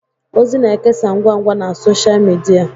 ozi na-ekesa ngwa ngwa na Sọsha midia